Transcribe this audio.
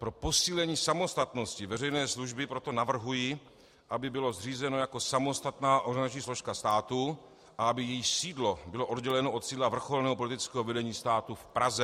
Pro posílení samostatnosti veřejné služby proto navrhuji, aby bylo zřízeno jako samostatná organizační složka státu a aby její sídlo bylo odděleno od sídla vrcholného politického vedení státu v Praze.